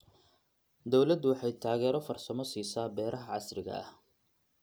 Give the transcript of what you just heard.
Dawladdu waxay taageero farsamo siisaa beeraha casriga ah.